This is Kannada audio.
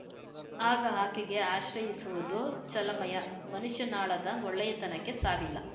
ಆಗ ಆಕೆಗೆ ಆಶ್ರಯಿಸುವುದು ಚಲಮಯ್ಯಮನುಷ್ಯನಾಳದ ಒಳ್ಳೆಯತನಕ್ಕೆ ಸಾವಿಲ್ಲ